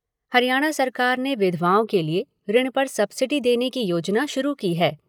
हरियाणा सरकार ने विधवाओं के लिए ऋण पर सब्सिडी देने की योजना शुरू की है।